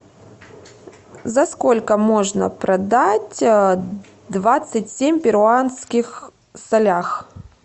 за сколько можно продать двадцать семь перуанских солях